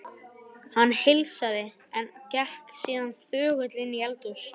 Hann heilsaði, en gekk síðan þögull inn í eldhús.